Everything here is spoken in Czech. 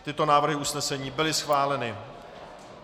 Tyto návrhy usnesení byly schváleny.